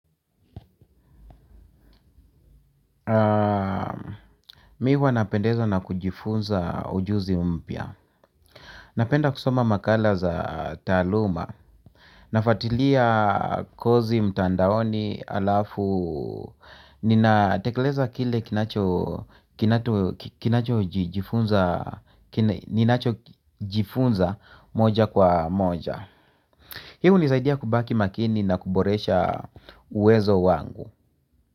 Mimi huwa napendeza na kujifunza ujuzi mpya. Napenda kusoma makala za taaluma. Nafuatilia kozi mtandaoni alafu ninatekeleza kile kinacho jifunza ninacho jifunza moja kwa moja. Hii hunisaidia kubaki makini na kuboresha uwezo wangu.